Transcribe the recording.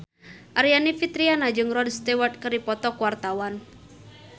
Aryani Fitriana jeung Rod Stewart keur dipoto ku wartawan